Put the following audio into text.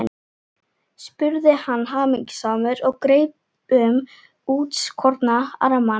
spurði hann hamingjusamur og greip um útskorna armana.